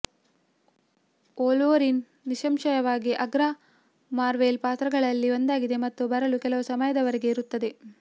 Wolverine ನಿಸ್ಸಂಶಯವಾಗಿ ಅಗ್ರ Marvel ಪಾತ್ರಗಳಲ್ಲಿ ಒಂದಾಗಿದೆ ಮತ್ತು ಬರಲು ಕೆಲವು ಸಮಯದವರೆಗೆ ಇರುತ್ತದೆ